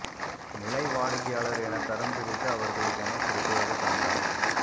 நிலை வாடிக்கையாளர் என தரம் பிரித்து அவர்களுக்கு என பிரத்யேக சந்தா